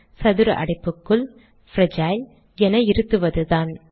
சதுர அடைப்புக்குள் - பிரேஜில் என இருத்துவதுதான்